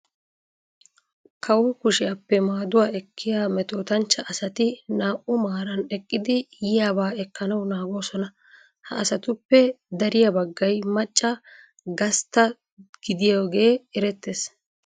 Kawo kushiyappe maaduwa ekkiya metootanchcha asati naa"u maaran eqqidi yiyaba ekkanawu naagoosona. Ha asatuppe dariya baggay macca gastta gidiyogee erettes.